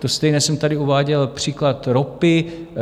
To stejné jsem tady uváděl příklad ropy.